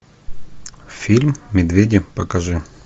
фильм медведи покажи